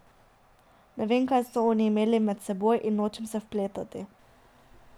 Ne vem, kaj so oni imeli med seboj, in nočem se vpletati.